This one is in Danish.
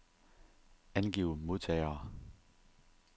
Angiv modtagere.